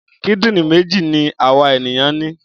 Kídìrín méjì ni àwa ènìyàn ní.